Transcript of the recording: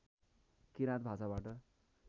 किराँत भाषाबाट